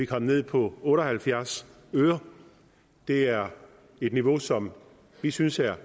kom ned på otte og halvfjerds øre det er et niveau som vi synes er